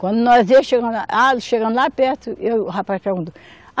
Quando nós ia chegando, chegando lá perto, o rapaz perguntou.